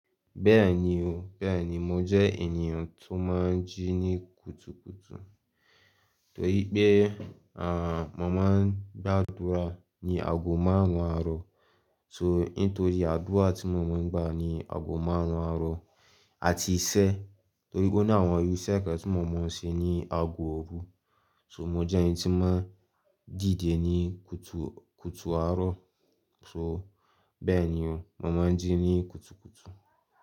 Bẹ́ẹ̀ni o, bẹ́ẹ̀ni mò jẹ́ ènìyàn tó máa ń jí ní kùtùkùtù torí pé, à, mo máa ń gba àdúrà ní ago márùn-ún àárọ̀. So, nítorí àdúrà tí mo mọ̀ ń gba ní ago márùn-ún àárọ̀ àti iṣẹ́ torí ó ní àwọn irú iṣẹ́ kan tí mo mọ̀ ń ṣe ní ago òru. So mò jẹ́ ẹni tí máa ń dìde ní kùtù kùtù àárọ̀. So bẹ́ẹ̀ni o, mo máa ń jí ní kùtùkùtù.